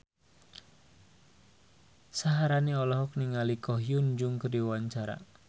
Syaharani olohok ningali Ko Hyun Jung keur diwawancara